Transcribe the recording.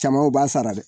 Caman u b'a sara dɛ